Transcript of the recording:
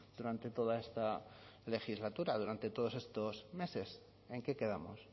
durante toda esta legislatura durante todos estos meses en qué quedamos